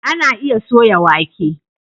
Ana iya soya wake.